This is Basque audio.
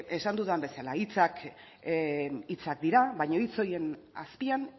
esan dudan bezala hitzak hitzak dira baina hitz horien azpian